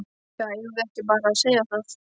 Já, eigum við ekki bara að segja það.